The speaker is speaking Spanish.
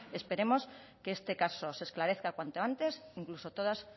esperemos que este caso se esclarezca cuanto antes incluso todas